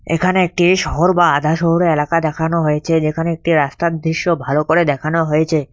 এখানে একটি শহর বা আধা শহুরে এলাকা দেখানো হয়েছে যেখানে একটি রাস্তার দৃশ্য ভালো করে দেখানো হয়েছে।